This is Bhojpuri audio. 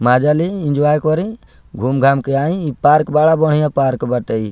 मजा ले एन्जॉय करे घूम-घाम के आयी इ पार्क बड़ा बढ़िया पार्क बाटे इ।